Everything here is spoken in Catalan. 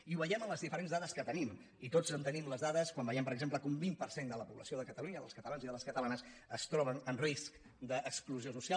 i ho veiem en les diferents dades que tenim i tots tenim les da·des quan veiem per exemple que un vint per cent de la població de catalunya dels catalans i de les catalanes es troben en risc d’exclusió social